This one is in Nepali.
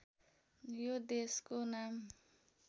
यो देशको नाम